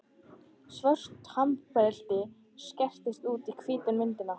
Svört hamrabeltin skerast út úr hvítri myndinni.